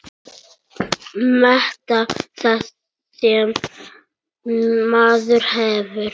Meta það sem maður hefur.